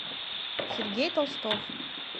сергей толстов